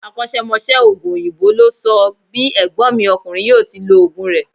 Akósémosé òògùn òyìnbó ló sọ bí ègbón mi ọkùnrin yíò ti lo òògùn rè